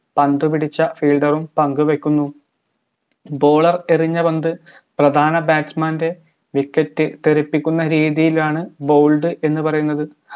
പന്തു പിടിച്ച fielder ഉം പന്ത് വെക്കുന്നു bowler എറിഞ്ഞ പന്ത് പ്രധാന batsman ൻറെ wicket തെറിപ്പിക്കുന്ന രീതിയിലാണ് bowled എന്ന് പറയുന്നത്